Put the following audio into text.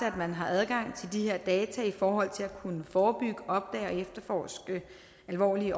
at man har adgang til de her data i forhold til at kunne forebygge opdage og efterforske alvorlige